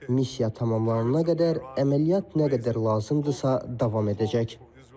Missiya tamamlanana qədər əməliyyat nə qədər lazımdırsa, davam edəcək.